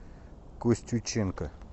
костюченко